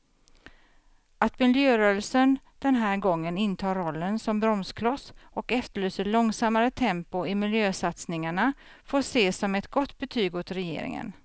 Att miljörörelsen den här gången intar rollen som bromskloss och efterlyser långsammare tempo i miljösatsningarna får ses som ett gott betyg åt regeringen.